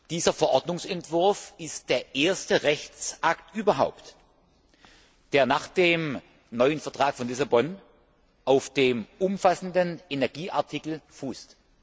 Dieser Verordnungsentwurf ist übrigens der erste Rechtsakt überhaupt, der nach dem neuen Vertrag von Lissabon auf dem umfassenden Energieartikel fußt.